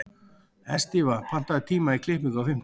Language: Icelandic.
Estiva, pantaðu tíma í klippingu á fimmtudaginn.